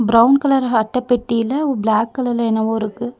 Brown colour அட்டப்பெட்டியில் black கலர்ல என்னவோ இருக்கு.